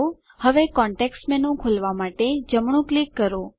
હવે context menu ખોલવાં માટે જમણું ક્લિક કરો